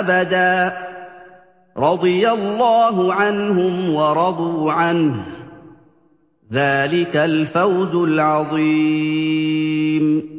أَبَدًا ۚ رَّضِيَ اللَّهُ عَنْهُمْ وَرَضُوا عَنْهُ ۚ ذَٰلِكَ الْفَوْزُ الْعَظِيمُ